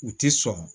U tɛ sɔn